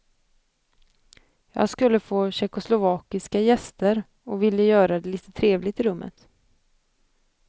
Jag skulle få tjeckoslovakiska gäster och ville göra det lite trevligt i rummet.